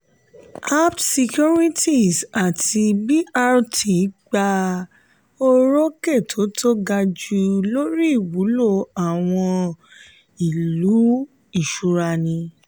apt securities àti brd gba orókè tó tó gaju lórí ìwúlò àwọn ilé ìṣúrani.